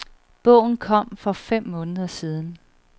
Bogen kom for fem måneder siden.